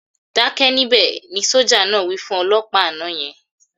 "Dákẹ́ níbẹ̀", ni sójà náà wí fún olọ́pàá àná yẹn